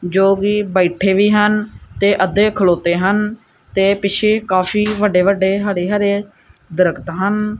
ਜੋ ਕਿ ਬੈੱਠੇ ਵੀ ਹਨ ਤੇ ਅੱਧੇ ਖਲੌਤੇ ਹਨ ਤੇ ਪਿਛੇ ਕਾਫੀ ਵੱਡੇ ਵੱਡੇ ਹਰੇ ਹਰੇ ਦਰਖਤ ਹਨ।